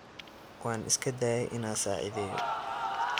Wan iskadaye ina sacidheyo.